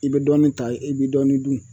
I bɛ dɔɔni ta i bɛ dɔɔni dun